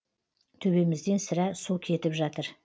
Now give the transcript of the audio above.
төбемізден сірә су кетіп жатыр